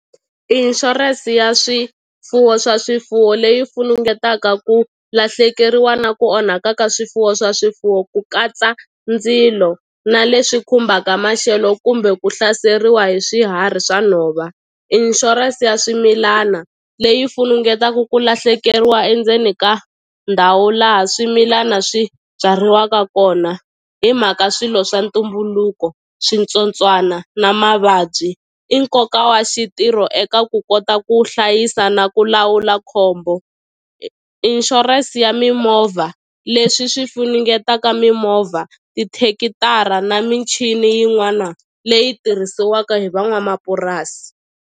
Insurance ya swifuwo swa swifuwo leyi fungetaka ku lahlekeriwa na ku onhaka ka swifuwo swa swifuwo ku katsa ndzilo na leswi khumbaka maxelo kumbe ku hlaseriwa hi swiharhi swa nhova insurance ya swimilana leyi funungetaku ku lahlekeriwa endzeni ka ndhawu laha swimilana swi byariwaka kona hi mhaka swilo swa ntumbuluko switsotswana na mavabyi i nkoka wa xitirho eka ku kota ku hlayisa na ku lawula khombo insurance ya mimovha leswi swi funingetaka mimovha tithekitara na michini yin'wana leyi tirhisiwaka hi van'wamapurasi.